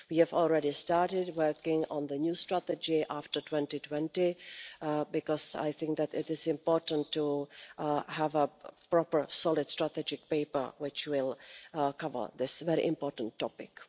We have already started working on the new strategy after 2020, because I think that it is important to have a proper, solid strategic paper which will cover this very important topic.